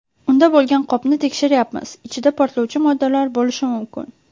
Unda bo‘lgan qopni tekshiryapmiz, ichida portlovchi moddalar bo‘lishi mumkin.